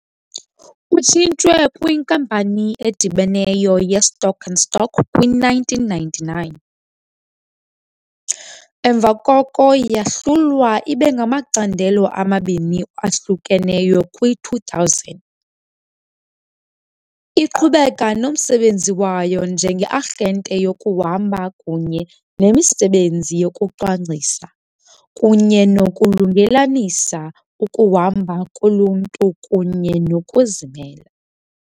Utshintshwe kwinkampani edibeneyo ye-stock and stock kwi-1999, emva koko yahlulwa ibe ngamacandelo amabini ahlukeneyo kwi-2000, iqhubeka nomsebenzi wayo njenge-arhente yokuhamba kunye nemisebenzi yokucwangcisa kunye nokulungelelanisa ukuhamba koluntu kunye nokuzimela.